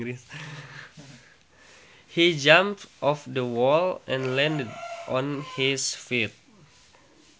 He jumped off the wall and landed on his feet